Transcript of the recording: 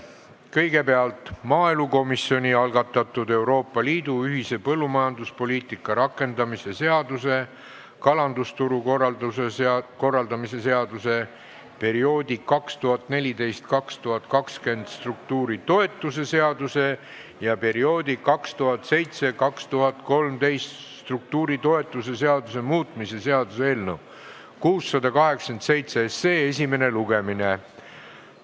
Kõigepealt maaelukomisjoni algatatud Euroopa Liidu ühise põllumajanduspoliitika rakendamise seaduse, kalandusturu korraldamise seaduse, perioodi 2014–2020 struktuuritoetuse seaduse ja perioodi 2007–2013 struktuuritoetuse seaduse muutmise seaduse eelnõu esimene lugemine.